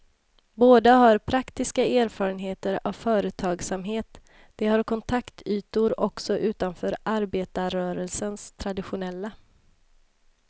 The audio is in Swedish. Båda har praktiska erfarenheter av företagsamhet, de har kontaktytor också utanför arbetarrörelsens traditionella.